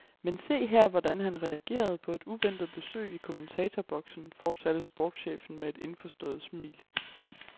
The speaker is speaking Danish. Men se her, hvordan han reagerede på et uventet besøg i kommentatorboksen, fortsatte sportschefen med et indforstået smil.